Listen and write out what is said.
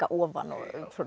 ofan og